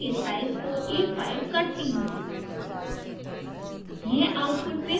a5 मैं paper के size को a5 करती हूँ